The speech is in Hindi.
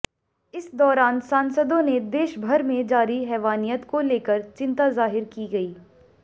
इस दौरान सांसदों ने देश भर में जारी हैवानियत को लेकर चिंता जाहिर की गई